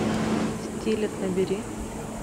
стилет набери